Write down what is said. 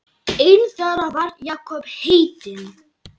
Einn þeirra var Jakob heitinn